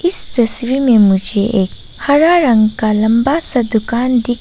इस तस्वीर में मुझे एक हरा रंग का लंबा सा दुकान दिख --